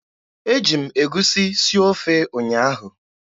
Eji m egusi sie ofe ụnyaahụ.